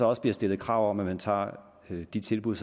også bliver stillet krav om at man tager imod de tilbud